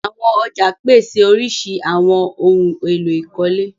Àwọn ọ̀já pese oríṣíríṣí awọn ohun èlò ìkọ́lé.